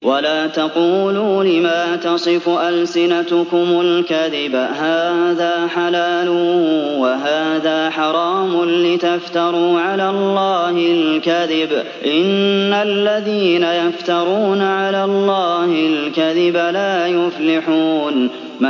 وَلَا تَقُولُوا لِمَا تَصِفُ أَلْسِنَتُكُمُ الْكَذِبَ هَٰذَا حَلَالٌ وَهَٰذَا حَرَامٌ لِّتَفْتَرُوا عَلَى اللَّهِ الْكَذِبَ ۚ إِنَّ الَّذِينَ يَفْتَرُونَ عَلَى اللَّهِ الْكَذِبَ لَا يُفْلِحُونَ